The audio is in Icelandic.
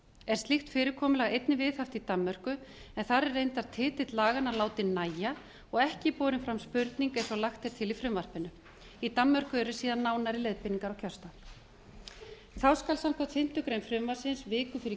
er slíkt fyrirkomulag einnig viðhaft í danmörku en þar er reyndar titill laganna látinn nægja og ekki borin fram spurning eins og lagt er til í frumvarpinu í danmörku eru síðan nánari leiðbeiningar á kjörstað þá skal samkvæmt fimmtu grein frumvarpsins viku fyrir